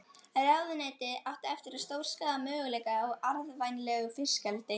Ráðuneytið átti eftir að stórskaða möguleika á arðvænlegu fiskeldi.